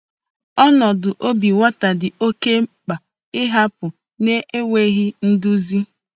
Ọnọdụ obi nwata dị oke mkpa ị hapụ na-enweghị nduzi.